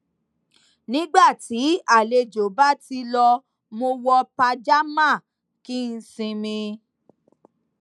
nígbà tí àlejò bá ti lọ mo wọ pajamá kí n sinmi